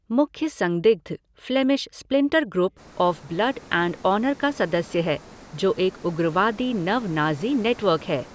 मुख्य संदिग्ध Flemish splinter group of Blood and Honour का सदस्य है, जो एक उग्रवादी नव नाज़ी नेटवर्क है।